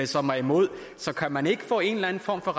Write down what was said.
som er imod så kan man ikke få en eller anden form for